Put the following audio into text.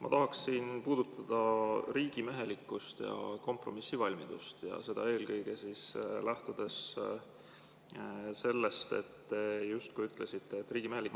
Ma tahaksin puudutada riigimehelikkust ja kompromissivalmidust, eelkõige lähtudes sellest, et te justkui ütlesite, et riigimehelikkus …